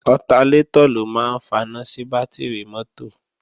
Ọtalétọ̀ ló máa ń faná sí bátìrì mọ́tò